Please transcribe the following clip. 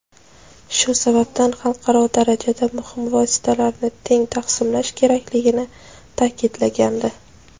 shu sababdan xalqaro darajada muhim vositalarni teng taqsimlash kerakligini ta’kidlagandi.